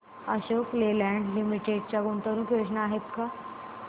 Ashok Leyland limited च्या गुंतवणूक योजना आहेत का